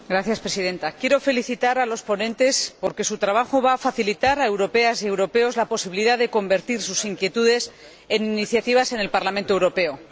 Señora Presidenta, quiero felicitar a los ponentes porque su trabajo va a facilitar a europeas y europeos la posibilidad de convertir sus inquietudes en iniciativas en el Parlamento Europeo.